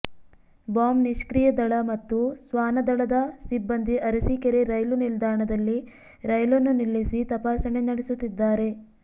bomb ನಿಷ್ಕ್ರಿಯ ದಳ ಮತ್ತು ಶ್ವಾನದಳದ ಸಿಬ್ಬಂದಿ ಅರಸೀಕೆರೆ ರೈಲು ನಿಲ್ದಾಣದಲ್ಲಿ ರೈಲನ್ನು ನಿಲ್ಲಿಸಿ ತಪಾಸಣೆ ನಡೆಸುತ್ತಿದ್ದಾರೆ